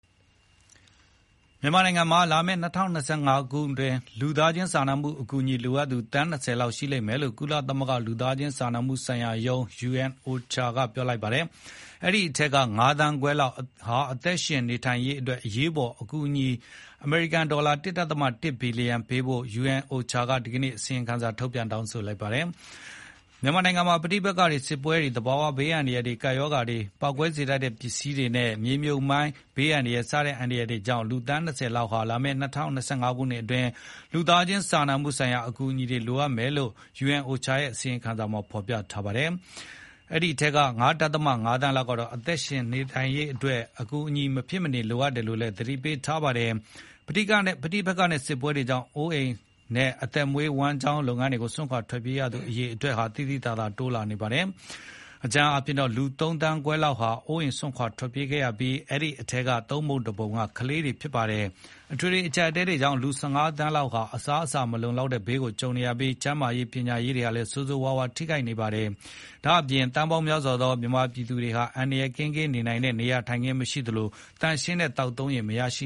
မြန်မာနိုင်ငံမှာ လာမယ့် ၂၀၂၅ ခုနှစ်ကူးချိန်မှာ လူသားချင်းစာနာ အကူအညီလိုအပ်သူ သန်း ၂၀ လောက် ရှိလိမ့်မယ်လို့ ကုလသမဂ္ဂ လူသားချင်းစာနာမှုဆိုင်ရာရုံး UNOCHA ကပြောလိုက်ပါတယ်။ အဲဒီထဲက ၅ သန်းခွဲလောက် အသက်ရှင်နေထိုင်နိုင်ရေးအတွက် အရေးပေါ် အကူအညီ အမေရိကန်ဒေါ်လာ ၁ ဒသမ ၁ ဘီလီယံပေးဖို့လည်း UNOCHA က ဒီကနေ့ အစီရင်ခံစာထုတ်ပြန် တောင်းဆိုလိုက်ပါတယ်။ မြန်မာနိုင်ငံမှာ ပဋိပက္ခတွေ၊ စစ်ပွဲတွေ၊ သဘာဝဘေးအန္တရာယ်တွေ၊ ကပ်ရောဂါတွေ၊ ပေါက်ကွဲစေ တတ်တဲ့ပစ္စည်းတွေနဲ့ မြေမြှုပ်မိုင်း စတဲ့ဘေးအန္တရာယ်တွေကြောင့် လူ သန်း ၂၀ လောက်ဟာ လာမယ့် ၂၀၂၅ ခုအတွင်း လူသားချင်းစာနာမှု ဆိုင်ရာအကူအညီတွေလိုအပ်မယ်လို့ UNOCHA ရဲ့ အစီရင်ခံမှာ ပြောထားပါတယ်။ အဲဒီထဲက ၅ ဒသမ ၅ သန်းလောက်ကတော့ အသက်ရှင်ရေးအတွက် အကူအညီ မဖြစ်မနေ လိုအပ်နေတယ်လို့ သတိပေးထားပါတယ်။ ပဋိပက္ခနဲ့စစ်ပွဲတွေကြောင့် အိုးအိမ်တွေနဲ့အသက်မွေးဝမ်းကျောင်းအလုပ်တွေကို စွန့်ခွာ ထွက်ပြေးရသူ အရေအတွက်ဟာ သိသိသာသာတိုးလာနေပါတယ်။ အကြမ်းဖျင်းအားဖြင့်လူ ၃ သန်းခွဲလောက်ဟာ အိုးအိမ်စွန့်ခွါထွက်ပြေးခဲ့ရပြီး အဲဒီထဲကသုံးပုံတပုံဟာ ကလေးတွေဖြစ်ပါတယ်။ အထွေထွေအကြပ်အတည်းတွေကြောင့် လူ ၁၅ သန်းလောက်ဟာ အစားအစာမလုံလောက်တဲ့ဘေးကို ကြုံနေရပြီး၊ ကျန်းမာရေး၊ ပညာရေးတွေဟာလည်းဆိုးဆိုးဝါးဝါး ထိခိုက်နေပါတယ်။ ဒါ့အပြင် သန်းပေါင်းများစွာသော မြန်မာပြည်သူတွေဟာလည်း အန္တရယ်ကင်းကင်း နေထိုင်နိုင်တဲ့ နေရာထိုင်ခင်း မရှိသလို သန့်ရှင်းတဲ့သောက်သုံးရေလည်းမရရှ